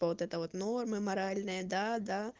вот это вот нормы моральные да да